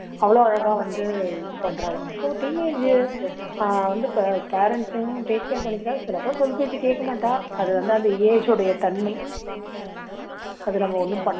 அவ்ளோ அழகா வந்து இது பண்றாளாம் so teenage அஹ் வந்து இப்போ parents அயும் take care பண்ணிக்கிறா சில பேர் சொல் பேச்சு கேக்க மாட்டா அது வந்து அந்த age உடைய தன்மை அதை நம்ம ஒண்ணும்